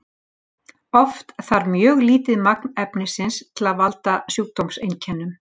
oft þarf mjög lítið magn efnisins til að valda sjúkdómseinkennum